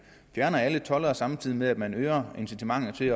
fjerner alle toldere samtidig med at man øger incitamentet til